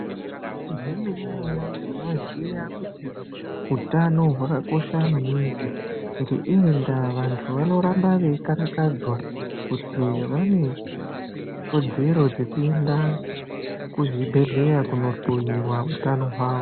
Zve mene mene ndino ziya kuti utano hwaka kosha maningi nge iyi ndaa vantu vanoramba vei karakadzwa kuti vane kodzero dzeku enda ku zvibhedhleya kuno hloyiwa utano hwawo.